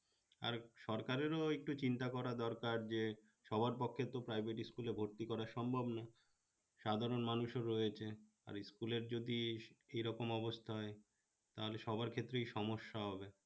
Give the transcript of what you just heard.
সরকারের একটু চিন্তা করা দরকার আছে সবার পক্ষে তো private school এ ভর্তি করা সম্ভব না সাধারণ মানুষ ও রয়েছে আর school এর যদি এই রকম অবস্থা হয় তাহলে সবার ক্ষেত্রেই সমস্যা হবে